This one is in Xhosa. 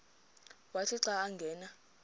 wathi xa angena